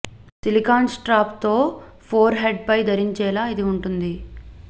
silicon strap తో forehead పై ధరించేలా ఇది ఉంటుంది